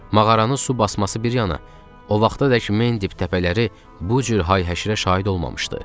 Mağaranı su basması bir yana, o vaxtadək Mendip təpələri bu cür hay-həşirə şahid olmamışdı.